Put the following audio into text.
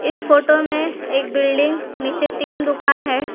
इस फोटो में एक बिल्डिंग नीचे तीन दुकान हैं।